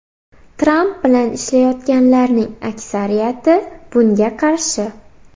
Tramp bilan ishlayotganlarning aksariyati bunga qarshi.